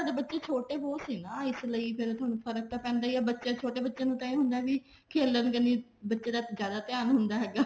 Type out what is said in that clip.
ਥੋਡੇ ਬੱਚੇ ਛੋਟੇ ਬਹੁਤ ਸੀ ਨਾ ਇਸ ਲਈ ਫ਼ੇਰ ਫਰਕ ਤਾਂ ਪੈਂਦਾ ਹੀ ਹੈ ਛੋਟੇ ਬੱਚੇ ਨੂੰ ਇਹ ਹੁੰਦਾ ਵੀ ਖੇਲਣ ਕਨੀ ਬੱਚੇ ਦਾ ਜਿਆਦਾ ਧਿਆਨ ਹੁੰਦਾ ਹੈਗਾ